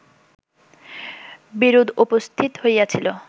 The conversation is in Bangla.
বিরোধ উপস্থিত হইয়াছিল